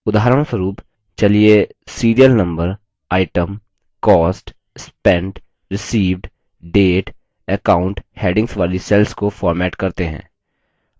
उदाहरणस्वरूप चलिए serial number item cost spent received date account headings वाली cells को format करते हैं